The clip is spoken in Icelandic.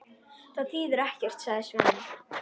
Það þýðir ekkert, sagði Svenni.